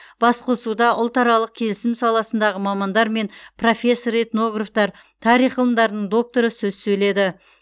басқосуда ұлтаралық келісім саласындағы мамандар мен профессор этнографтар тарих ғылымдарының докторы сөз сөйледі